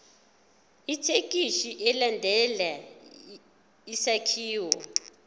ithekisthi ilandele isakhiwo